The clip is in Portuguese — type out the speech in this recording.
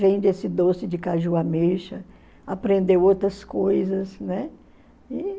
Vende esse doce de caju ameixa, aprendeu outras coisas.